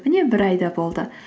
міне бір ай да болды